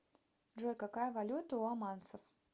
джой какая валюта у оманцев